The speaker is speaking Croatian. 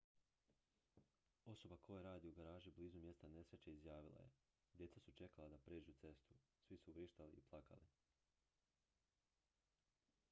osoba koja radi u garaži blizu mjesta nesreće izjavila je djeca su čekala da pređu cestu svi su vrištali i plakali